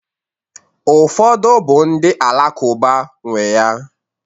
Ụfọdụ bụ ndị Alakụba nwee ya.